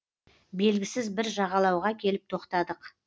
белгісіз бір жағалауға келіп тоқтадық